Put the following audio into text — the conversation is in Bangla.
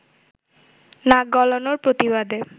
নাক গলানোর প্রতিবাদে